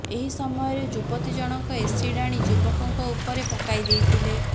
ଏହି ସମୟରେ ଯୁବତୀ ଜଣକ ଏସିଡ୍ ଆଣି ଯୁବକଙ୍କ ଉପରେ ପକାଇଦେଇଥିଲେ